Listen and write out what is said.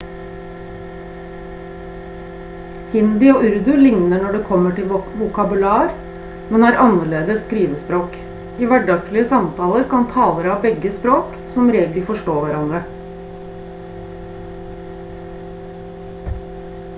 hindi og urdu ligner når det kommer til vokabular men har annerledes skrivespråk i hverdagslige samtaler kan talere av begge språk som regel forstå hverandre